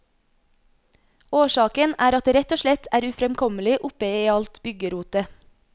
Årsaken er at det rett og slett er ufremkommelig oppe i alt byggerotet.